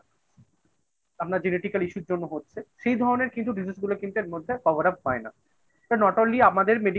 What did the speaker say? আপনার genetical issue র জন্য হচ্ছে। সেই ধরনের কিন্তু diseases গুলো কিন্তু এর মধ্যে cover up হয় না। not only আমাদের medical